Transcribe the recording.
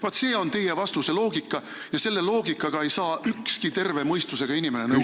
Vaat selline on teie vastuse loogika ja selle loogikaga ei saa ükski terve mõistusega inimene nõustuda.